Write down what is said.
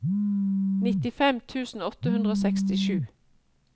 nittifem tusen åtte hundre og sekstisju